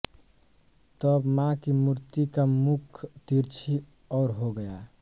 तब माँ की मूर्ति का मुख तिरछी और हो गया